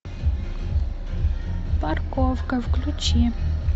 парковка включи